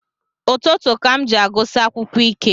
Ụtụtụ ka m ji agụsi akwukwọ ike